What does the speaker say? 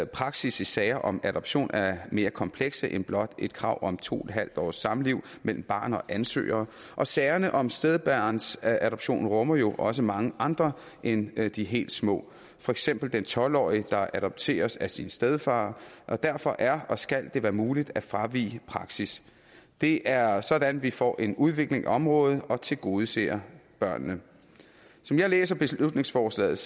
praksis i sager om adoption er mere komplekse end blot et krav om to en halv års samliv mellem barn og ansøger og sagerne om stedbarnsadoption rummer jo også mange andre end de helt små for eksempel den tolv årige der adopteres af sin stedfar derfor er og skal det være muligt at fravige praksis det er sådan vi får en udvikling af området og tilgodeser børnene som jeg læser beslutningsforslaget